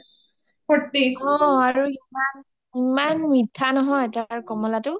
ভৰতি আৰু ইমান মিঠা নহয় তাৰ কমলাটো.